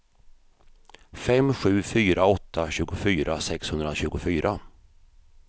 fem sju fyra åtta tjugofyra sexhundratjugofyra